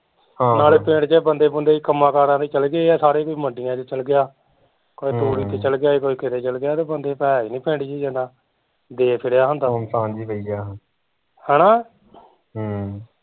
ਨਾਲੇ ਪਿੰਡ ਦੇ ਬੰਦੇ ਬੁੰਦੇ ਕੰਮਾ ਕਾਰਾਂ ਤੇ ਚੱਲ ਗਏ ਆ ਸਾਰੇ ਕੋਈ ਮੰਡੀਆ ਚ ਚੱਲ ਗਿਆ ਕੋਈ ਤੂੜੀ ਤੇ ਚੱਲ ਗਿਆ ਕੋਈ ਕਿਤੇ ਚੱਲ ਗਿਆ ਤੇ ਬੰਦੇ ਤੇ ਹੈ ਹੀਂ ਨੀ ਪਿੰਡ ਚ ਜਿੱਦਾ ਜੇ ਫਿਰਿਆ ਤਾਂ ਹੈਨਾ ਹਮ